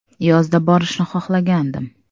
Yozda borishni xohlagandim.